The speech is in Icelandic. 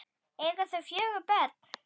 Eiga þau fjögur börn.